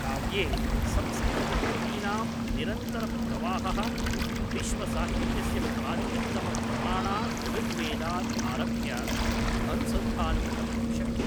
काव्ये संस्कृतकृतीनां निरन्तरप्रवाहः विश्वसाहित्यस्य प्राचीनतमप्रमाणात् ऋग्वेदात् आरभ्य अनुसन्धानं कर्तुं शक्यते ।